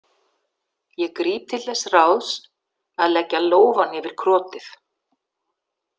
Ég gríp til þess ráðs að leggja lófann yfir krotið.